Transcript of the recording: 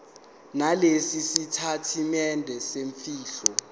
nalesi sitatimende semfihlo